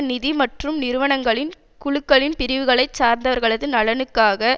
நிதி மற்றும் நிறுவனங்களின் குழுக்களின் பிரிவுகளை சார்ந்தவர்களது நலன்களுக்காக